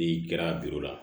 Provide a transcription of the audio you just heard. I kɛra la